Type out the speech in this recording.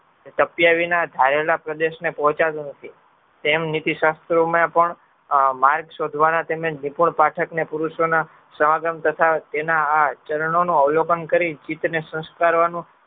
સક્યવીના ધારેલા પ્રદેશને પોહ્ચાતો નથી તેમ નીતીશાત્રોમાં પણ માર્ગ શોધવાના તેમજ નિપુર્ણ પાઠકને પુરુષોના સવાગમ તથા તેના આ ચરણનો અવલોકન કરી